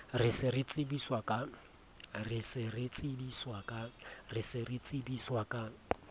re se re tsebiswa ka